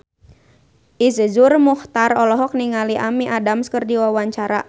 Iszur Muchtar olohok ningali Amy Adams keur diwawancara